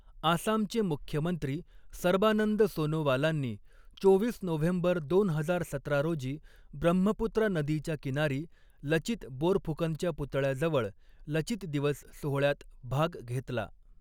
आसामचे मुख्यमंत्री सर्बानंद सोनोवालांनी चोवीस नोव्हेंबर दोन हजार सतरा रोजी, ब्रह्मपुत्रा नदीच्या किनारी लचित बोरफुकनच्या पुतळ्याजवळ लचित दिवस सोहळ्यात भाग घेतला.